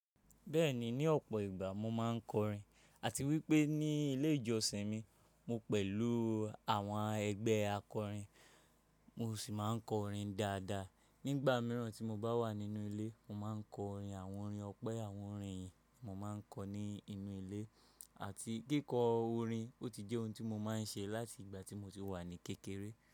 Bẹ́ẹ̀ni, ní ọ̀pọ̀ ìgbà mo máa ń kọrin àti wípé ní ilé ìjọsìn mi mo pẹ̀lú àwọn ẹgbẹ́ akọrin. Mo sì máa ń kọrin dáadáa. Nígbà mìíràn tí mo bá wà nínú ilé, mo máa ń kọ orin, àwọn orin ọpẹ́, àwọn orin ìyìn mo máa ń kọ ní inú ilé àti kíkọ orin ó ti jẹ́ ohun tí mo máa ń ṣe láti ìgbà tí mo ti wà ní kékeré.